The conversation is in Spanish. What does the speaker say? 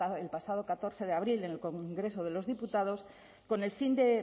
el pasado catorce de abril en el congreso de los diputados con el fin de